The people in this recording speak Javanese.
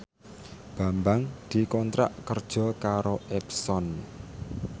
Bambang dikontrak kerja karo Epson